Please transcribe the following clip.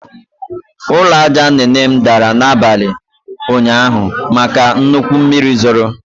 Ụlọ aja nne nne m dara n'abalị ụnyaahụ maka nnukwu mmiri zoro